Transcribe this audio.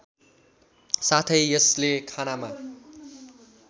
साथै यसले खानामा